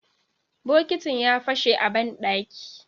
Bokitin ya fashe a banɗaki